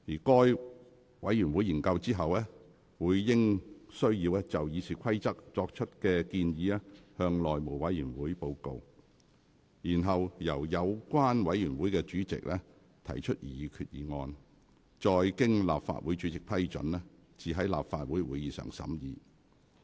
該委員會研究後，會因應需要就《議事規則》作出修訂建議，向內務委員會報告，然後由有關委員會主席提出擬議決議案，再經立法會主席批准後，才在立法會會議上審議。